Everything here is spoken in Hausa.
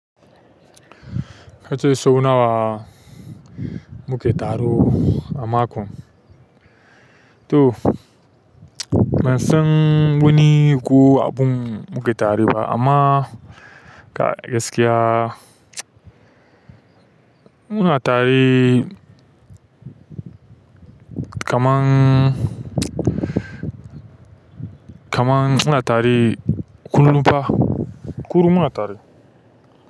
Kace so nawa muke taro a mako to, bansan wani ko abun muke tareba amma ga gaskiya muna tarie kaman, kaman muna tare kullum fa. Kullum muna tare.